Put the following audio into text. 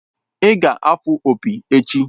Ị ga-afụ opi echi!